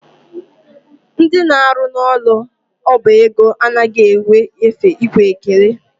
Ndị na-arụ n'ụlọ ọba ego anaghị enwe efe ikwe ekele.